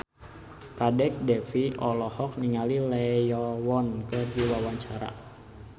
Kadek Devi olohok ningali Lee Yo Won keur diwawancara